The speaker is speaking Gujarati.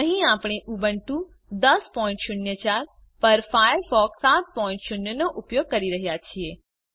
અહીં આપણે ઉબુન્ટુ 1004 પર ફાયરફોક્સ 70 નો ઉપયોગ કરી રહ્યા છીએ